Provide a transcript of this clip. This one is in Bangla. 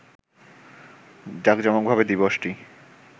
জাকজমকভাবে দিবসটি